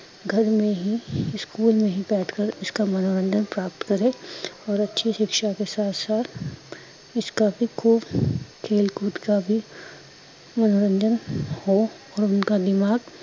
ਗਰ ਹੀਂ ਮੇ, ਸਕੂਲ ਮੇ ਹੀਂ ਬੈਠ ਕਰ ਇਸਕਾਂ ਮਨੋਰੰਜਨ ਪ੍ਰਾਪਤ ਕਰੇ ਓਰ ਅੱਛੀ ਸ਼ਿਕਸ਼ਾਂ ਕੇ ਸਾਥ ਸਾਥ ਇਸਕਾ ਬੀ ਖੁਬ ਖੇਲ ਕੂਦ ਕਾ ਬੀ ਮਨੋਰੰਜਨ ਹੋ ਓਰ ਉਣਕਾ ਦਿਮਾਗ